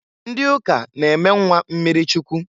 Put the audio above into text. Ndị ụka na eme nnwa mmiri Chukwu.